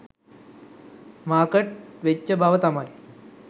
market වෙච්ච බව තමයි